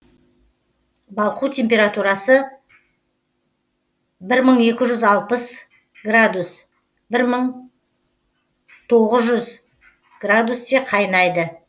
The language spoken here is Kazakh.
балқу температурасы бір мың екі жүз алпыс бір мың тоғыз жүз градусте қайнайды